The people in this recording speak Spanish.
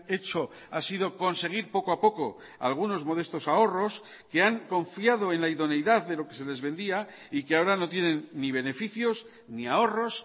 hecho ha sido conseguir poco a poco algunos modestos ahorros que han confiado en la idoneidad de lo que se les vendía y que ahora no tienen ni beneficios ni ahorros